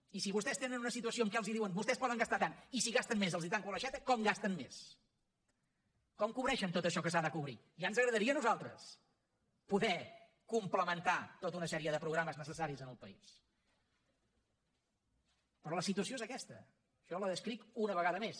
i si vostès tenen una situació en què els diuen vostès poden gastar tant i si gastem més els tanco l’aixeta com gasten més com cobreixen tot això que s’ha de cobrir ja ens agradaria a nosaltres poder complementar tota una sèrie de programes necessaris en el país però la situació és aquesta jo la descric una vegada més